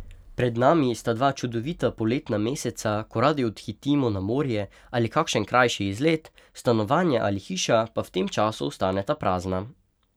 Pred nami sta dva čudovita poletna meseca, ko radi odhitimo na morje ali kakšen krajši izlet, stanovanje ali hiša pa v tem času ostaneta prazna.